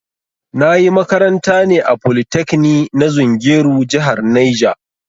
Na ƴi makaranta ne a polytekni na zungeru jihar Niger